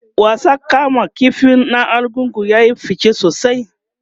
wasan kama ƙifi na argungu yayi fice sosai